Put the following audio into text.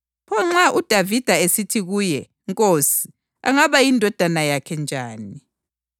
Kakho loyedwa owaba lelizwi lokumphendula. Kwathi-ke kusukela ngalolosuku kakho owaqunga isibindi sokumbuza eminye imibuzo.